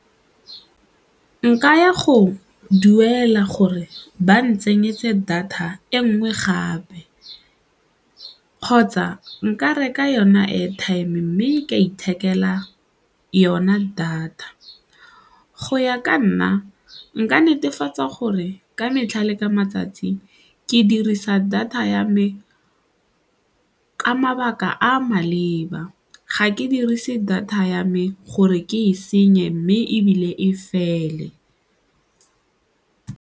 Nka ya go duela gore ba ntsenyetse data e nngwe gape kgotsa nka reka yona airtime mme ka ithekela yona data. Go ya ka nna, nka netefatsa gore ka metlha le ka matsatsi ke dirisa data ya me ka mabaka a maleba ga ke dirise data ya me gore ke e senye mme ebile e fele.